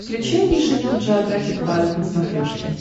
включай нейшенел джеографик вайлд на смотрешке